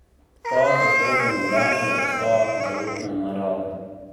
Ta tako do nadaljnjega ostaja zaupne narave.